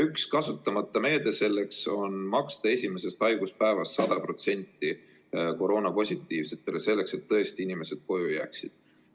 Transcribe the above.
Üks kasutamata meede selleks on maksta koroonapositiivsetele esimesest haiguspäevast alates hüvitist 100%, et inimesed tõesti koju jääksid.